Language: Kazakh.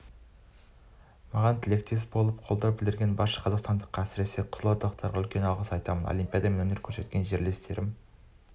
маған тілектес болып қолдау білдірген барша қазақстандыққа әсіресе қызылордалықтарға үлкен алғыс айтамын олимпиадада өнер көрсеткенімде жерлестерім